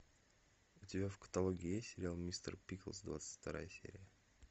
у тебя в каталоге есть сериал мистер пиклз двадцать вторая серия